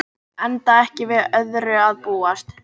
Enda ekki við öðru að búast